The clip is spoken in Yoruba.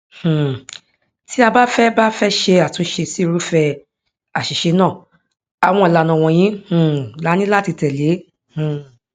um tí a bá fẹ bá fẹ ṣe àtúnṣe sí irúfẹ àṣìṣe náà àwọn ìlànà wọnyi um laní láti tẹlẹ um